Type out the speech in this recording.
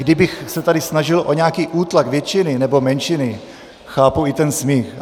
Kdybych se tady snažil o nějaký útlak většiny nebo menšiny, chápu i ten smích.